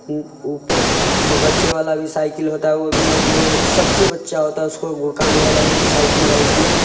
उ ऊपर जो बच्चे वाला भी साइकिल होता है वो भी है| जो सबसे बच्चा होता है उसको गुड़काने वाला वो भी साइकिल है इसमें |